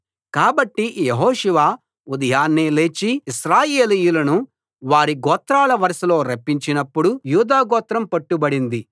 కాబట్టి యెహోషువ ఉదయాన్నే లేచి ఇశ్రాయేలీయులను వారి గోత్రాల వరుసలో రప్పించినప్పుడు యూదాగోత్రం పట్టుబడింది